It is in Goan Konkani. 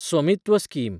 स्वमित्व स्कीम